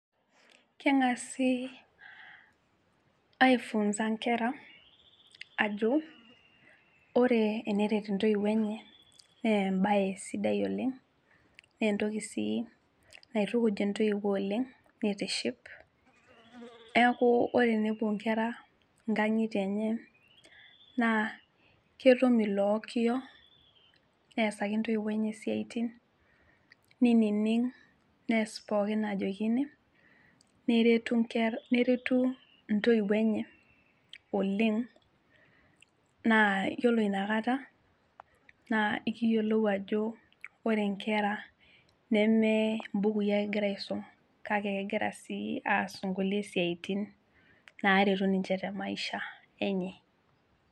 Keng'asi aefunza inkera ajo ore eneret intoiwuo enye embaye sidai oleng nentoki sii naitukuj intoiwuo oleng nitiship neku ore tenepuo inkera inkang'itie enye naa ketum ilo okiyo neesaki intoiwuo enye isiatin ninining nees pookin najokini neretu inke neretu intoiwuo enye oleng naa yiolo inakata naa ikiyiolou ajo ore inkera neme imbukui ake egira aisum kake egira sii aas inkulie siatin naretu ninche te maisha enye.